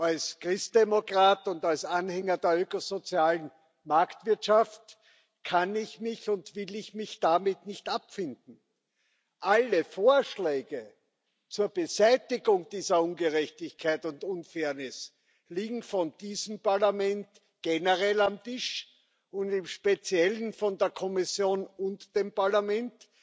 Als Christdemokrat und als Anhänger der öko sozialen Marktwirtschaft kann und will ich mich damit nicht abfinden. Alle Vorschläge zur Beseitigung dieser Ungerechtigkeit und Unfairness liegen von diesem Parlament generell auf dem Tisch und im Speziellen von der Kommission und dem Parlament,